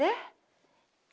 Né?